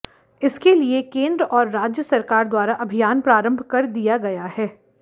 इसके लिये केंद्र और राज्य सरकार द्वारा अभियान प्रारंभ कर दिया गया है